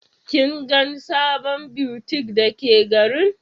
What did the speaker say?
Kin gan sabon butiƙ da ka garin?